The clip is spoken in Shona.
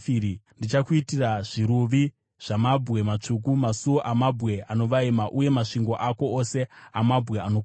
Ndichakuitira zviruvi zvamabwe matsvuku, masuo amabwe anovaima, uye masvingo ako ose amabwe anokosha.